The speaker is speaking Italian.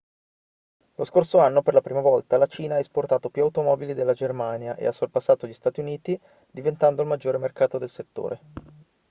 lo scorso anno per la prima volta la cina ha esportato più automobili della germania e ha sorpassato gli stati uniti diventando il maggiore mercato del settore